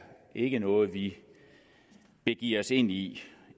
ikke noget vi begiver os ind i